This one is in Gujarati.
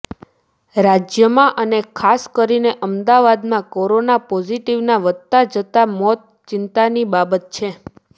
રાજ્યમાં અને ખાસ કરીને અમદાવાદમાં કોરોના પોઝીટીવના વધતા જતા મોત ચિંતાની બાબત છે